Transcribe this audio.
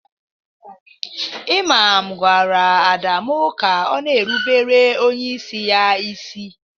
Ịmam gwara Adamu ka Ọ na-erụbere onyeisi ya ịsị